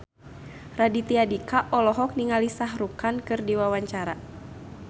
Raditya Dika olohok ningali Shah Rukh Khan keur diwawancara